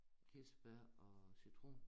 Kirsebær og citron